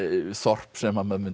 þorp sem maður mundi